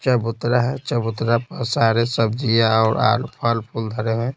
चबूतरा है चबूतरा पर सारे सब्जियाँऔर आलू फल फूल धरे हैं।